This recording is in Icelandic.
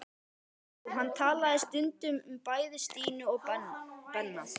Já, hann talaði stundum um bæði Stínu og Benna.